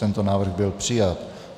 Tento návrh byl přijat.